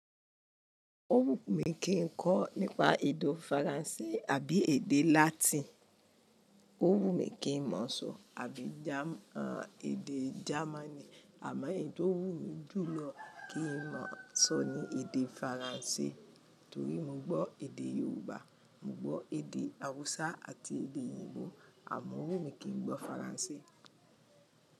Ó wù mí kí n kọ́ nípa èdo Faransé àbí èdè Latin, ó wù mí kí n mọ̀ o sọ àbí Jam-- èdè Jamani àmọ́ èyí tó wù mí jù lọ kí n mọ̀ sọ ni èdè Faransé torí mo gbọ́ èdè Yorùbá, mo gbọ́ èdè haúsá àti èdè Ìgbò àmọ́ ò wù mí kí n gbọ́ Faransé.